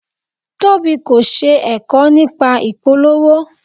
Tobi kò ṣe ẹ̀kọ́ nípa ìpolówó.